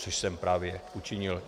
Což jsem právě učinil.